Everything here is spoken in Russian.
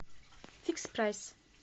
фикс прайс